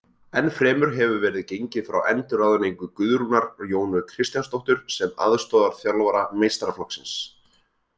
Ennfremur hefur verið gengið frá endurráðningu Guðrúnar Jónu Kristjánsdóttur sem aðstoðarþjálfara meistaraflokksins.